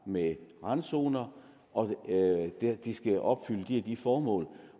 med randzoner og at de skal opfylde de og de formål